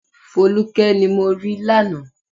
Folúkẹ́ ni mo rí lánàá